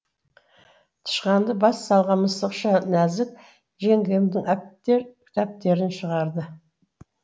тышқанды бас салған мысықша нәзік жеңгемнің әптер тәптерін шығарады